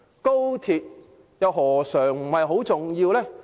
高鐵何嘗不是很重要？